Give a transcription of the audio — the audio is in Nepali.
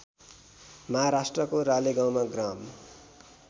महाराष्ट्रको रालेगाउँमा ग्राम